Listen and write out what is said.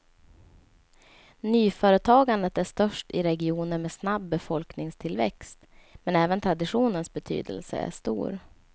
Nyföretagandet är störst i regioner med snabb befolkningstillväxt, men även traditionens betydelse är stor.